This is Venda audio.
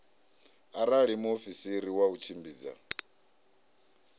arali muofisiri wa u tshimbidza